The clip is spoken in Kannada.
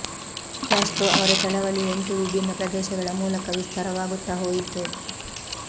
ಕ್ಯಾಸ್ಟ್ರೊ ಅವರ ಚಳವಳಿ ಎಂಟು ವಿಭಿನ್ನ ಪ್ರದೇಶಗಳ ಮೂಲಕ ವಿಸ್ತಾರವಾಗುತ್ತಾ ಹೋಯಿತು